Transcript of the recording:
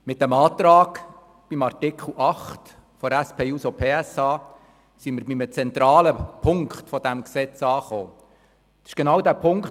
Mit dem Antrag der SP-JUSO-PSAFraktion zu Artikel 8 sind wir bei einem zentralen Punkt dieses Gesetzes angelangt.